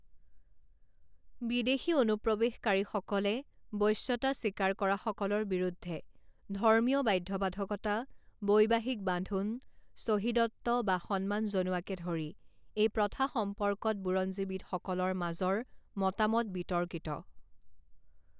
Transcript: বিদেশী অনুপ্ৰৱেশকাৰীসকলে বশ্যতা স্বীকাৰ কৰাসকলৰ বিৰুদ্ধে ধৰ্মীয় বাধ্যবাধকতা, বৈবাহিক বান্ধোন, চহিদত্ব বা সন্মান জনোৱাকে ধৰি এই প্ৰথা সম্পৰ্কত বুৰঞ্জীবিদসকলৰ মাজৰ মতামত বিতৰ্কিত।